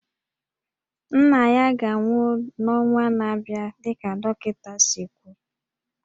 Nna ya ga-anwụ n'ọnwa na-abịa dịka dọkịta siri kwuo